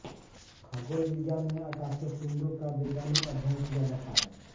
खगोल विज्ञान में आकाशीय पिण्डों का वैज्ञानिक अध्ययन किया जाता है